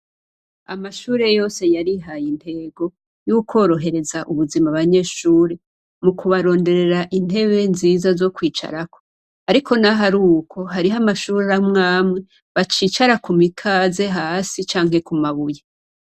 Amashure yose yarihaye intego y'ukworohereza ubuzima abanyeshure mu kubaronderera intebe nziza zo kwicarako. Ariko n'aho ari uko, hariho amashure amwe amwe bacicara ku mikaze hasi, canke ku mabuye.